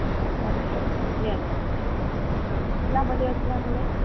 हो का? रम्य असा, जंगलामध्ये असल्यामुळे... खूप सुंदर...